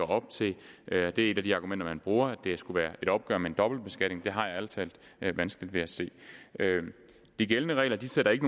op til det er et af de argumenter man bruger at det skulle være et opgør med en dobbeltbeskatning men det har jeg ærlig talt vanskeligt ved at se de gældende regler sætter ikke